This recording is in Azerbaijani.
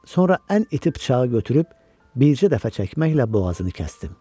Sonra ən iti bıçağı götürüb bircə dəfə çəkməklə boğazını kəsdim.